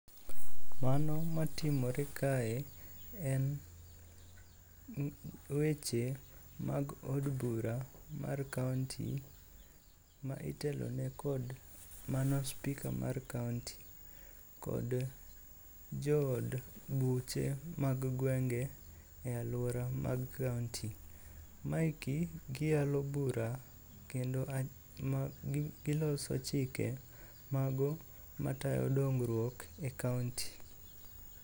Mano matimore kae en weche mag od bura mar kaonti ma itelone kod mano spika mar kaonti kod jood buche mag gwenge e alwora mag kaonti. Maeki giyalo bura kendo giloso chike mago matayo dongruok e kaonti.